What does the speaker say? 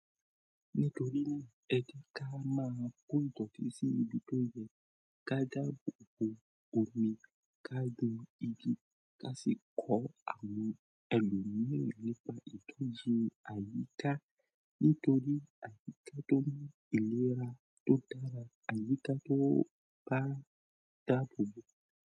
Nítorí náà, ẹ kí á máa kó ìtọ́tẹ̀ sí ibi tó yẹ, ká dàbò bo omi, ká gbin igi, ká sì kọ́ àwọn ẹlòmíràn nípa ìtọ́jú àyíká. Nítorí àyíká tó mú ìlera tó dára, àyíká tó bá dàbò bo.